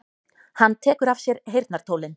Hann tekur af sér heyrnartólin.